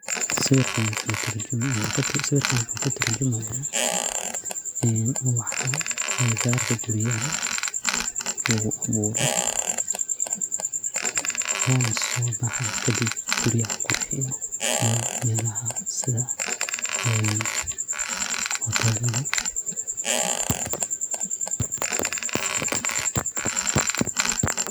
Sawirkan wuxu katurjumaya een ubaha agagarka guriyaha laguaburo, ona sobaha kadib guriyaha qurxiyo iyo melaha ofisyada, een hotel.